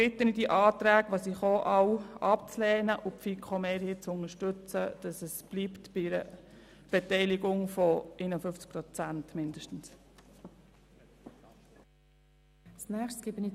Deshalb bitte ich Sie, alle Anträge abzulehnen und die FiKo-Mehrheit zu unterstützen, damit es bei einer Beteiligung von mindestens 51 Prozent bleibt.